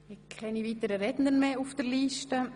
Es stehen keine weiteren Redner auf der Liste.